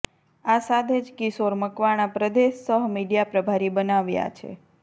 આ સાથે જ કિશોર મકવાણા પ્રદેશ સહ મીડિયા પ્રભારી બનાવાયા છે